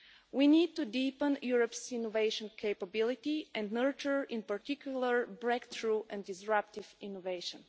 We need to deepen Europe's innovation capability and nurture, in particular, breakthrough and disruptive innovation.